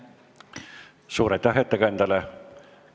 Suur aitäh ettekandjale!